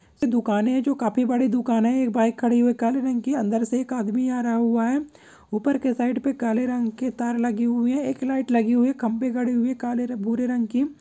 --दुकान हैं जो काफी बड़ी दुकान हैं एक बाइक खड़े हुए काले रंग की अंदर से एक आदमी आ रहा हुआ है ऊपर के साइड में काले रंग के तार लगे हुए हैं एक लाइट लगी हुई है खंबे खड़े हुए हैं काले रंग भरे रंग के।